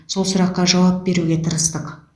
сол сұраққа жауап беруге тырыстық